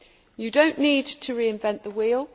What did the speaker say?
You do not need to re invent the wheel